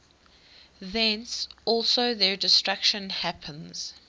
thence also their destruction happens